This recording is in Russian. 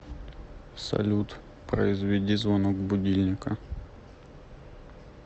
салют произведи звонок будильника